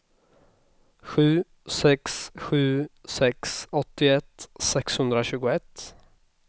sju sex sju sex åttioett sexhundratjugoett